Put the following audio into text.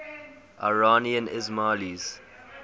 iranian ismailis